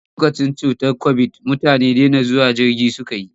Lokacin cutar kobid, mutane dena zuwa filin jirgi suka yi.